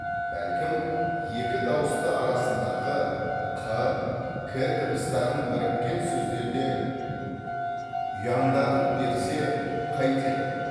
бәлкім екі дауысты арасындағы қ к дыбыстарын біріккен сөздерде ұяңдатып берсе қайтеді